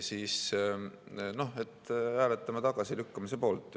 Noh, hääletame tagasilükkamise poolt.